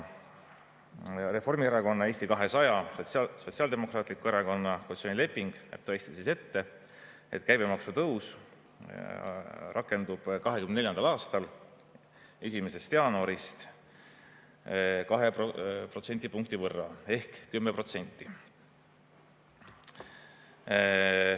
Reformierakonna, Eesti 200 ja Sotsiaaldemokraatliku Erakonna koalitsioonileping näeb tõesti ette, et käibemaksu tõus rakendub 2024. aasta 1. jaanuarist 2 protsendipunkti võrra ehk 10%.